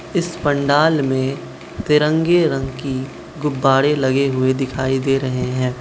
इस पंडाल में तिरंगे रंग की गुब्बारे लगे हुए दिखाई दे रहे हैं।